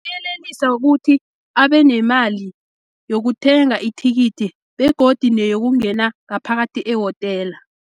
Yelelisa ukuthi, abenemali yokuthenga ithikithi, begodi neyokungena ngaphakathi ewotela.